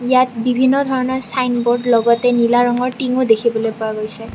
ইয়াত বিভিন্ন ধৰণৰ চাইনবোৰ্ড লগতে নীলা ৰঙৰ টিঙও দেখিবলৈ পোৱা গৈছে।